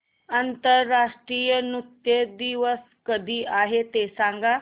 आंतरराष्ट्रीय नृत्य दिवस कधी आहे ते सांग